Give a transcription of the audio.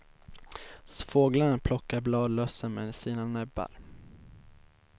Fåglarna plockar bladlössen med sina näbbar.